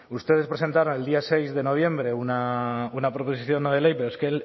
ustedes presentaron el día seis de noviembre una proposición no de ley pero es que